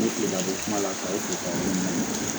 Ne sigila ko kuma la ka o